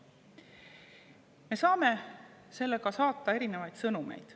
Me saame sellega saata erinevaid sõnumeid.